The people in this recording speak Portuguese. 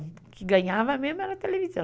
O que ganhava mesmo era a televisão.